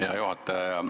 Aitäh, hea juhataja!